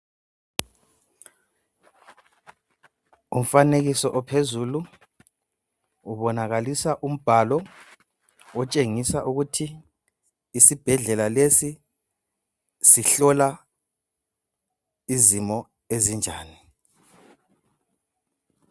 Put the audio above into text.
Umfanekiso ophezulu ubonakalisa umbhalo otshengisa ukuthi isibhedlela lesi sihlola izimo ezinjani.